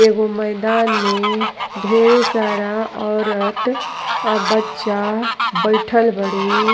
एगो मैदान में ढ़ेरे सारा औरत और बच्चा बइठल बाड़ी।